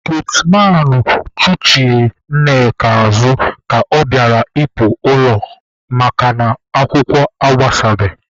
Getmanụ chụghachiri Nneka azụ ka ọ bịara ịpụ ilo makana akwụkwọ agbasabeghị